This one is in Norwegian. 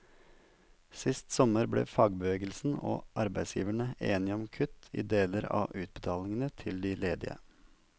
Sist sommer ble fagbevegelsen og arbeidsgiverne enige om kutt i deler av utbetalingene til de ledige.